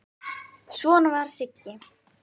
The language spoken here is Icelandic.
Svona var Siggi.